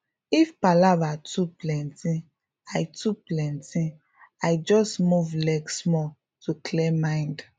if palava too plenty i too plenty i just move leg small to clear mind